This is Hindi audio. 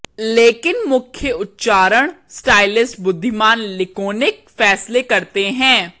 लेकिन मुख्य उच्चारण स्टाइलिस्ट बुद्धिमान लिकोनिक फैसले करते हैं